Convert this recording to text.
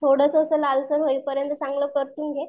थोडस असं लालसर होई पर्यंत चांगलं परतून घे